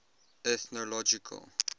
ethnological